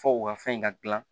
Fɔ u ka fɛn in ka gilan